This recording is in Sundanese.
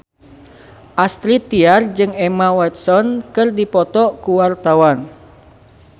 Astrid Tiar jeung Emma Watson keur dipoto ku wartawan